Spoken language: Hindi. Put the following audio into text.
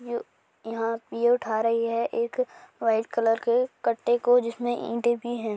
यहां ये उठा रही है एक व्हाइट कलर के कटे को जिसमे ईंटे भी है।